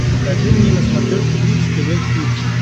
покажи мне на смотрешке бридж тв хитс